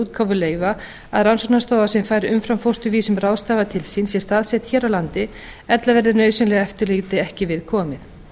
útgáfu leyfa að rannsóknastofa sem fær umframfósturvísum ráðstafað til sín sé staðsett hér á landi ella verði nauðsynlegu eftirliti ekki við komið